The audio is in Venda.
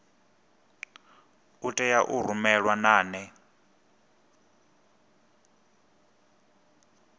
a tea u rumelwa nane